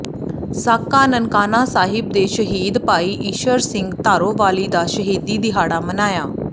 ਸਾਕਾ ਨਨਕਾਣਾ ਸਾਹਿਬ ਦੇ ਸ਼ਹੀਦ ਭਾਈ ਈਸ਼ਰ ਸਿੰਘ ਧਾਰੋਵਾਲੀ ਦਾ ਸ਼ਹੀਦੀ ਦਿਹਾੜਾ ਮਨਾਇਆ